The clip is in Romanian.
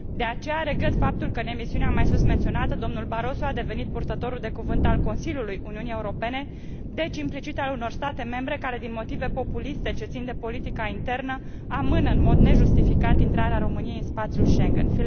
De aceea, regret faptul că în emisiunea susmenționată, domnul Barroso a devenit purtătorul de cuvânt al Consiliului Uniunii Europene, deci implicit al unor state membre care din motive populiste, ce țin de politica internă, amână în mod nejustificat intrarea României în spațiul Schengen.